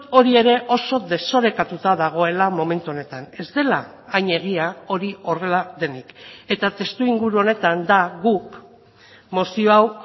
hori ere oso desorekatuta dagoela momentu honetan ez dela hain egia hori horrela denik eta testuinguru honetan da guk mozio hau